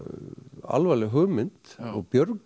alvarleg hugmynd og